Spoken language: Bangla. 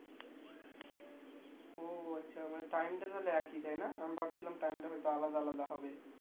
ও আচ্ছা মানে time তাহলে একই তাইনা আমি ভাবছিলাম time টা হয়তো আলাদা আলাদা হবে